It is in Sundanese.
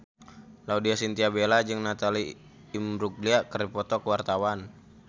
Laudya Chintya Bella jeung Natalie Imbruglia keur dipoto ku wartawan